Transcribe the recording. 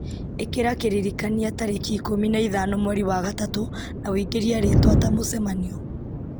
ĩkĩra kĩririkania tarĩki ikũmi na ithano mweri wa gatatũ na ũingĩrie rĩtwa ta mũcemanio